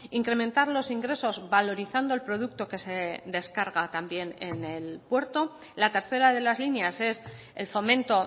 incrementar los ingresos valorizando el producto que se descarga también en el puerto la tercera de las líneas es el fomento